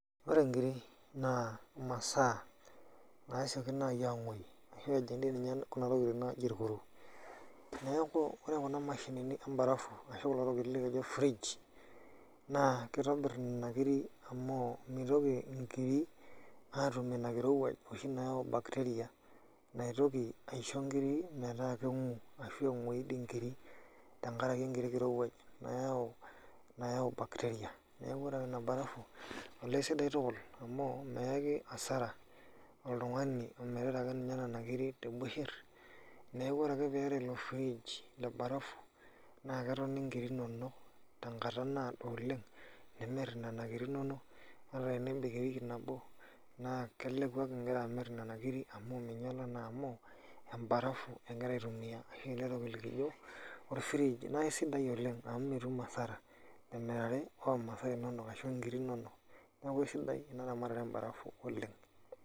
Ore inkiri naa imasaa nasioki naaji anguoyu ashu, eji dii ninye kuna tokitin naaji irkuru . Neaku ore kuna mashinini ebarafu ashu, kulo tokitin loji fridge naa, kitobir nena nkiri amu, mintoki inkiri atum ina kirowuaj oshi nayau bacteria naitoki aisho inkiri metaa kengu ashu, engoyu doi inkiri, tenkaraki ekiti kirowuaj nayau bacteria . Neaku ore ake ena barafu olee isidai tukul amu, meyaki hasara oltungani omirita ake ninye nena nkiri tebusher . Neaku ore pee epik ilo fridge lebarafu naa ketoni inkiri inonok tenkata naado oleng, nimir inena nkiri inonok eta tenebik ewiki nabo naa keleku ake ingira amir nena nkiri amu, inonok naa amu, ebarafu ingira aitumia tee nkae oitoi ofriji . Naa isidai oleng amu, mitum hasara temirare oo masaa inonok ashu, inkiri inonok. Neaku isidai ena ramatare ebarafu oleng.